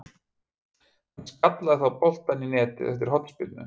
Hann skallaði þá boltann í netið eftir hornspyrnu.